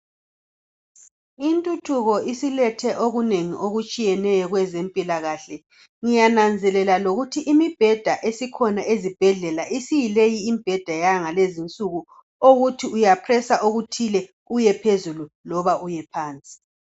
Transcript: Intuthuko isilethe okunengi okutshiyeneyo kwezempilakahle. Ngiyananzelela lokuthi imibheda esikhona ezibhedlela isiyileyi imibheda yangalezi insuku uyabotoza okuthile ukuthi uyephezulu loba uyephansi.